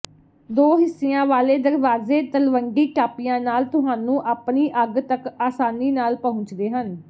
ਦੋ ਹਿੱਸਿਆਂ ਵਾਲੇ ਦਰਵਾਜ਼ੇ ਤਲਵੰਡੀ ਟਾਪਿਆਂ ਨਾਲ ਤੁਹਾਨੂੰ ਆਪਣੀ ਅੱਗ ਤਕ ਆਸਾਨੀ ਨਾਲ ਪਹੁੰਚਦੇ ਹਨ